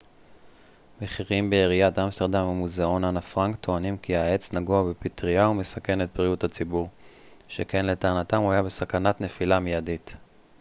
בכירים בעיריית אמסטרדם ומוזיאון אנה פרנק טוענים כי העץ נגוע בפטרייה ומסכן את בריאות הציבור שכן לטענתם הוא היה בסכנת נפילה מיידית